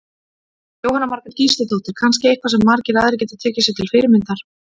Jóhanna Margrét Gísladóttir: Kannski eitthvað sem margir aðrir geta tekið sér til fyrirmyndar?